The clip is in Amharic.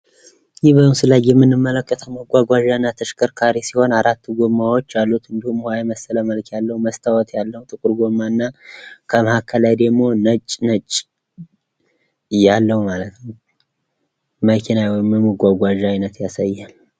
ይህ በምስሉ ላይ የምንመለከተው መጓጓዣ እና ተሽከርካሪ ሲሆን አራት ጎማዎች አሉት እንዲሁም ውሃ የመሰለ መልክ ያለው መስታዎት ያለው ጥቁር ጎማ እና ከምሃከል ከላይ ደግሞ ነጭ ነጭ ያለው መኪና ወይም የመጓጓዣ አይነት ያሳያል።